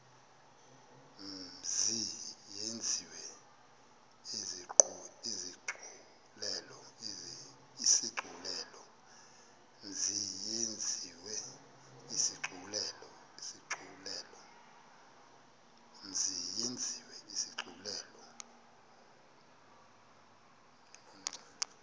mzi yenziwe isigculelo